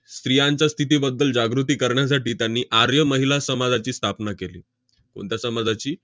स्त्रियांचा स्थितीबद्दल जागृती करण्यासाठी त्यांनी आर्य महिला समाजाची स्थापना केली. कोणत्या समाजाची?